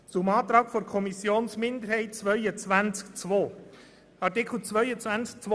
Zum Antrag der Kommissionsminderheit zu Artikel 22 Absatz 2: